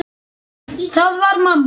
Það var mamma.